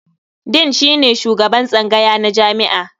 Dean shine shugaban tsangaya na jami'a.